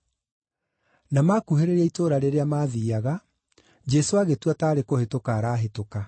Na maakuhĩrĩria itũũra rĩrĩa maathiiaga, Jesũ agĩtua taarĩ kũhĩtũka arahĩtũka.